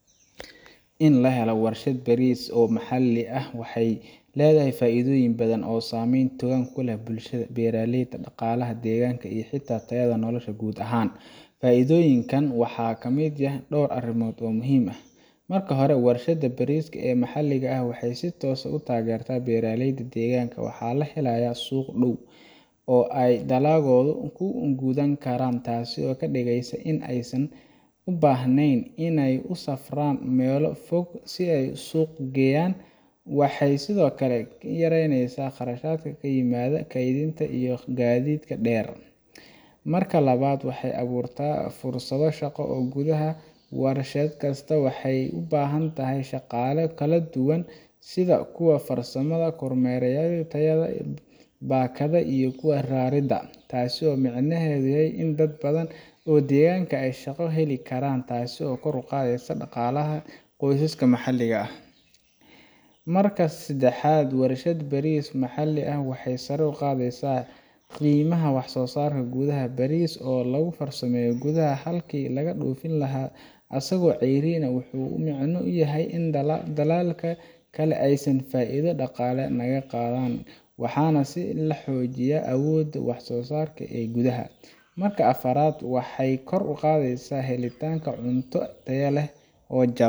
In la helo warshad bariis maxalli ah waxay leedahay faa’iidooyin badan oo saameyn togan ku leh bulshada, beeraleyda, dhaqaalaha deegaanka iyo xitaa tayada nolosha guud ahaan. Faa’iidooyinkan waxaa ka mid ah dhowr arrimood oo muhiim ah: Marka hore, warshadda bariiska ee maxalliga ah waxay si toos ah u taageertaa beeraleyda deegaanka. Waxaa la helayaa suuq dhow oo ay dalaggooda ku gadan karaan, taasoo ka dhigaysa in aysan u baahnayn inay u safraan meelo fog si ay u suuq geeyaan. Waxay sidoo kale yareynaysaa khasaaraha ka yimaada kaydinta iyo gaadiidka dheer. Marka labaad, waxay abuurtaa fursado shaqo oo gudaha ah. Warshad kasta waxay u baahan tahay shaqaale kala duwan sida kuwa farsamada, kormeerayaasha tayada, baakadaha, iyo kuwa raridda. Taas micnaheedu waa in dad badan oo deegaanka ah ay shaqo heli karaan, taasoo kor u qaadaysa dhaqaalaha qoysaska maxalliga ah. Marka saddexaad, warshad bariis maxalli ah waxay sare u qaadaysaa qiimaha wax-soo-saarka gudaha. Bariiska oo lagu farsameeyo gudaha, halkii laga dhoofin lahaa asagoo cayriin, wuxuu la micno yahay in dalalka kale aysan faa’iido dhaqaale naga qaadan, waxaana la sii xoojinayaa awoodda wax-soo-saar ee gudaha. Marka afraad, waxay kor u qaadaysaa helitaanka cunto tayo leh oo jaban.